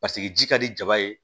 Paseke ji ka di jaba ye